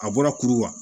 A bɔra kuru wa